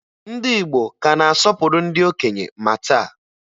Ndị Igbo ka na-asọpụrụ ndị okenye ma taa